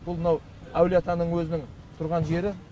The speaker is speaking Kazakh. бұл мынау әулие атаның өзінің тұрған жері